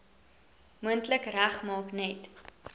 moontlik regmaak net